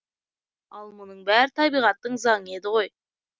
ал мұның бәрі табиғаттың заңы еді ғой